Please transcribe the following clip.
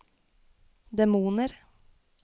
demoner